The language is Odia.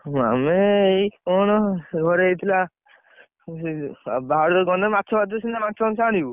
ଆମେ ଏଇ କଣ ଘରେ ହେଇଥିଲା, ବାହାରକୁ ଗଲେ ମାଛ ଫାଛ ସିନା ମାଛ ମାଂସ ଆଣିବୁ!